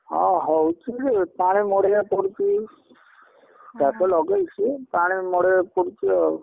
ଅ ହଉ ସିଆଡେ ପାଣି ମଡେଇଆକୁ ପଡୁଛି, ଚାଷ ଲଗେଇଛି ପାଣି ମଡେଇବାକୁ ପଡୁଛି ଆଉ।